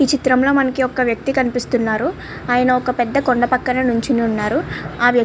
ఈ చిత్రంలో మనకి ఒక వ్యక్తి కనిపిస్తున్నారు. ఆయన ఒక పెద్ద కొండ పక్కన నించొని ఉన్నారు. ఆ వ్యక్ --